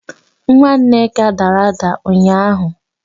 Nwa Nneka dara ada ụnyaahụ.